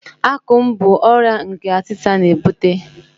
Akum bụ ọrịa nke atita na-ebute.